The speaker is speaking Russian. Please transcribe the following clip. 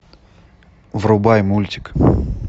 врубай мультик